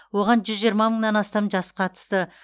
оған жүз жиырма мыңнан астам жас қатысты